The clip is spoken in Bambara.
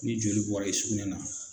Ni joli bɔra i sugunɛ na